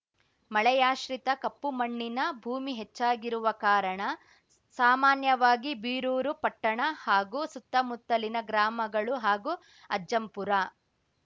ಮಳೆಯಾಶ್ರಿತ ಕಪ್ಪುಮಣ್ಣಿನ ಭೂಮಿ ಹೆಚ್ಚಾಗಿರುವ ಕಾರಣ ಸಾಮಾನ್ಯವಾಗಿ ಬೀರೂರು ಪಟ್ಟಣ ಹಾಗೂ ಸುತ್ತಮುತ್ತಲಿನ ಗ್ರಾಮಗಳು ಹಾಗೂ ಅಜ್ಜಂಪುರ